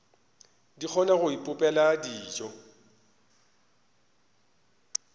di kgona go ipopela dijo